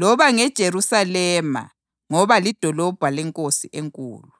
loba ngeJerusalema ngoba lidolobho leNkosi enkulu.